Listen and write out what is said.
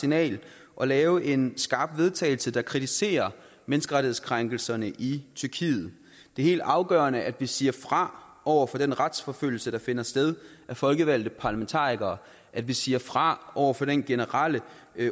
signal og lave en skarp vedtagelse der kritiserer menneskerettighedskrænkelserne i tyrkiet det er helt afgørende at vi siger fra over for den retsforfølgelse der finder sted af folkevalgte parlamentarikere at vi siger fra over for den generelle